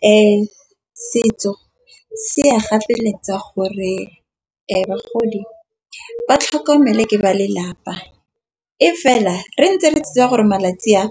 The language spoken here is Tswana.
Ee, setso se a gapeletsege gore bagodi ba tlhokomele ke ba lelapa. E fela re ntse re tse di a gore malatsi a